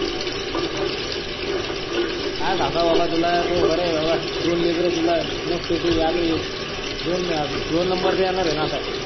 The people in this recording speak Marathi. काय सांगाव बाबा तुला तोय बर आहे बाबा दोन लेकर तुला मस्त आहे तुय आता दोन नंबर च येणार आहे न आता.